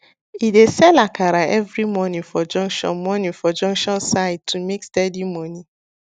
e dey sell akara every morning for junction morning for junction side to make steady money